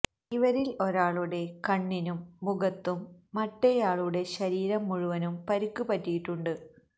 ഇവരില് ഒരാളുടെ കണ്ണിനും മുഖത്തും മറ്റേയാളുടെ ശരീരം മുഴുവനും പരിക്ക് പറ്റിയിട്ടുണ്ട്